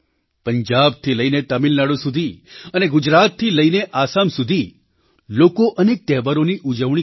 પંજાબથી લઈને તમિલનાડુ સુધી અને ગુજરાતથી લઈને આસામ સુધી લોકો અનેક તહેવારોની ઉજવણી કરશે